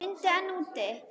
Það rigndi enn úti.